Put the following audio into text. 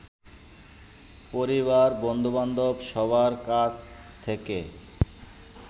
পরিবার, বন্ধুবান্ধব, সবার কাছ থেকে